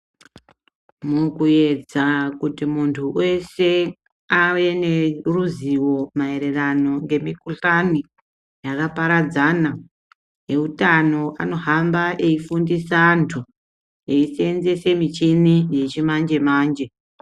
Mukuedza kuti muntu weshe ave neruzivo maererano nemikuhlani yakaparadzana veutano anohamba veifundisa vantu eyi sevenzese michini yechi manje manje.